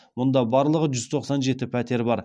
мұнда барлығы жүз тоқсан жеті пәтер бар